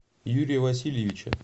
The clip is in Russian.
юрия васильевича